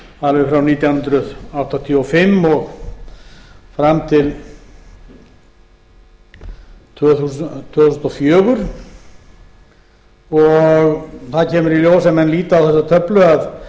alveg frá nítján hundruð áttatíu og fimm og fram til tvö þúsund og fjögur það kemur í ljós ef menn líta á þessa töflu að